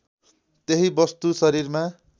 त्यही वस्तु शरीरमा